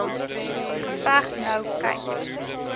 geveg nou kyk